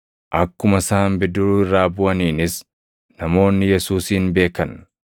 Akkuma isaan bidiruu irraa buʼaniinis namoonni Yesuusin beekan.